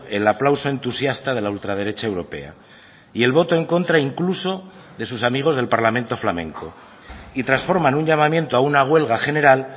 el aplauso entusiasta de la ultraderecha europea y el voto en contra incluso de sus amigos del parlamento flamenco y transforman un llamamiento a una huelga general